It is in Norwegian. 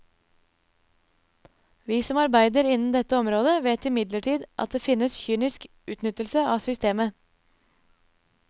Vi som arbeider innen dette området vet imidlertid at det finnes kynisk utnyttelse av systemet.